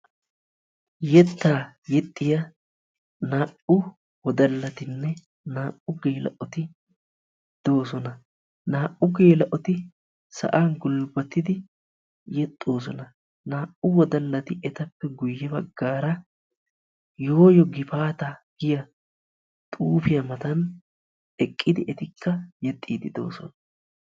Yettaa yexxiya naa'u wodallatinne naa'u geela'oti doosona. Naa'u geela'oti sa'an gulbbatidi yexxoosona. Naa'u wodallati etappe guyye baggaara yooyo gifaataa giya xuufiya matan eqqidi etikka yexxiiddi de'oosona.